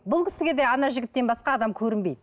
бұл кісіге де ана жігіттен басқа адам көрінбейді